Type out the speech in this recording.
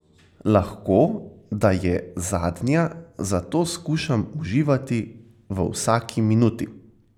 Lahko, da je zadnja, zato skušam uživati v vsaki minuti.